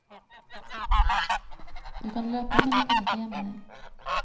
Du kan løpe, men du kan ikke gjemme deg.